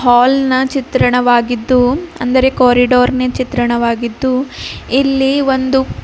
ಹಾಲ್ನ ಚಿತ್ರಣವಾಗಿದ್ದು ಅಂದರೆ ಕಾರಿಡೋರ್ನ ಚಿತ್ರಣವಾಗಿದ್ದು ಇಲ್ಲಿ ಒಂದು--